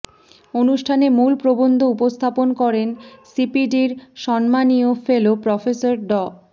অনুষ্ঠানে মূল প্রবন্ধ উপস্থাপন করেন সিপিডির সম্মাননীয় ফেলো প্রফেসর ড